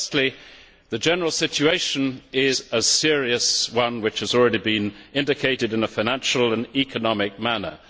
Firstly, the general situation is a serious one, which has already been indicated in a financial and economic manner.